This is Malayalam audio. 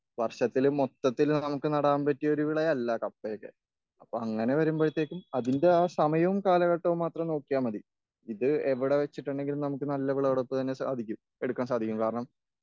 വർഷത്തിൽ മൊത്തത്തിൽ നമുക്ക് നടാൻ പറ്റിയ ഒരു വിളയല്ല കപ്പയോക്കെ.അപ്പൊ അങ്ങനെ വെരുമ്പഴത്തേക്കും അപ്പൊ അതിന്റെ സമയവും കാലഘട്ടവും നോക്കിയാൽ മതി.ഇത് എവിടെ വെച്ചിട്ടാണെങ്കിലും നമുക്ക് നല്ല വിളവെടുപ്പെന്നെ സാധിക്കും, എടുക്കാൻ സാധിക്കും.കാരണം